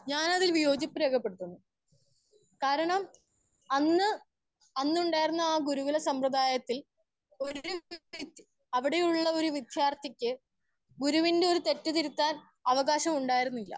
Speaker 1 ഞാൻ വിയോജിപ്പ് രേഖ പെടുത്തുന്നു. കാരണം അന്ന് അന്ന് ഉണ്ടായിരുന്ന ആ ഗുരുകുലം സമ്പ്രദായത്തിൽ ഒരു അവിടെ ഉള്ള ഒര്‌ വിദ്യാർത്തിക്ക് ഗിരുവിന്റെ ഒര്‌ തെറ്റ് തിരുത്താൻ അവകാശമുണ്ടാർന്നില്ല.